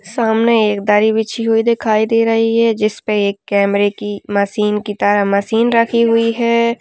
सामने एक दरी बिछी हुई दिखाई दे रही है जिसपे एक कैमरे की मशीन की तरह मशीन रखी हुई है।